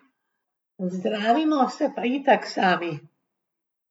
Zdravimo se pa itak sami.